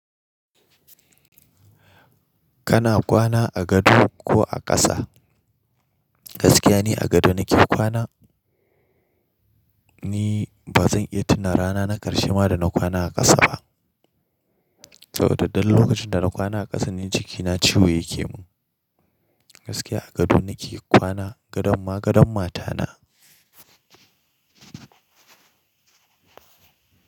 Kana kwana a gado ko a ƙasa? Gaskiya ne a gado nake kwana. Ni ba zan iya tuna rana na karshe ma da na kwana a ƙasa ba. Saboda duk lokacin da na kwana a ƙasa ni jikina ciwo yake mun. Gaskiya a gado nake kwana, gadon ma gadon matana.